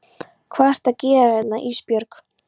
Hvað ertu að gera hérna Ísbjörg?